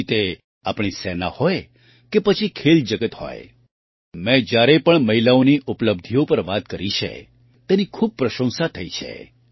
પછી તે આપણી સેના હોય કે પછી ખેલ જગત હોયમેં જ્યારે પણ મહિલાઓની ઉપલબ્ધિઓ પર વાત કરી છે તેની ખૂબ જ પ્રશંસા થઈ છે